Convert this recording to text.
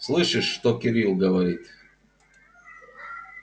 слышишь что кирилл говорит